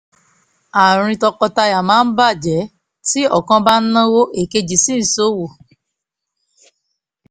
àárín tọkọtaya máa ń bà jẹ́ tí ọ̀kan bá ń náwó èkejì sì ń ṣọ́wó